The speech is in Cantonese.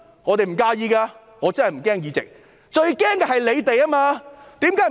我們不介意的，我真的不擔心議席，最擔心的人是他們。